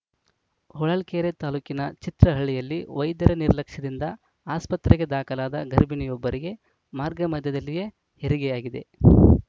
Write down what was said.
ಹೊಳಲ್ಕೆರೆ ತಾಲೂಕಿನ ಚಿತ್ರಹಳ್ಳಿಯಲ್ಲಿ ವೈದ್ಯರ ನಿರ್ಲಕ್ಷ್ಯದಿಂದ ಆಸ್ಪತ್ರೆಗೆ ದಾಖಲಾದ ಗರ್ಭಿಣಿಯೊಬ್ಬರಿಗೆ ಮಾರ್ಗಮಧ್ಯದಲ್ಲಿಯೇ ಹೆರಿಗೆಯಾಗಿದೆ